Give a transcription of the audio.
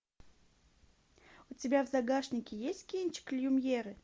у тебя в загашнике есть кинчик люмьеры